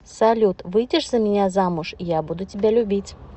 салют выйдешь за меня замуж я буду тебя любить